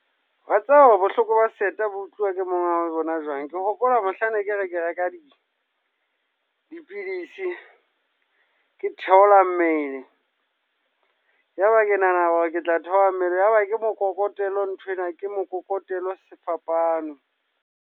Wa tseba wa bohloko ba seeta bo utluwa ke monga bona jwang. Ke hopola mohlang ne ke re ke reka di dipidisi, ke theola mmele. Ya ba ke nahana hore ke tla theoha mmele. Yaba ke mokokotelo nthwena ke mokokotelo sefapano.